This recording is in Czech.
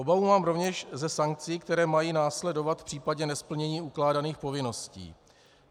Obavu mám rovněž ze sankcí, které mají následovat v případě nesplnění ukládaných povinností.